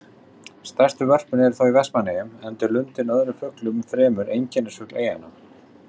Stærstu vörpin eru þó í Vestmannaeyjum, enda er lundinn öðrum fuglum fremur einkennisfugl eyjanna.